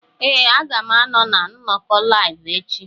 Ee, a ga m anọ na nnọkọ Live echi.